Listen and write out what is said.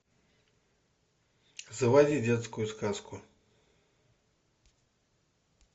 заводи детскую сказку